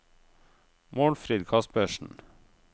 Målfrid Kaspersen